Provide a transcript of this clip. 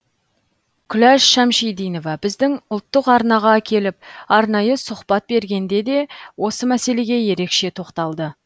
күләш шәмшидинова біздің ұлттық арнаға келіп арнайы сұқбат бергенде де осы мәселеге ерекше тоқталды